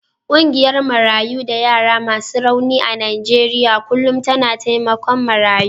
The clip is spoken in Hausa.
Ƙungiyar Marayu da yara masu rauni a Najeriya kullum tana taimakon marayu.